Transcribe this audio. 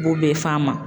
B'o bɛɛ f'an ma